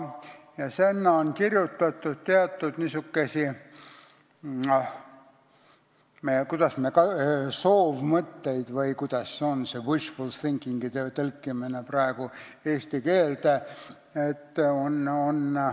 Sinna on kirjutatud, kuidas öelda, soovmõtteid või kuidas seda wishful thinking'ut praegu eesti keelde tõlgitaksegi.